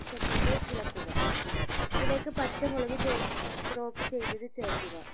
second ഇളക്കുക അതിലേക്ക് പച്ച മുളക് ചോ chop ചെയ്തത് ചേർക്കുക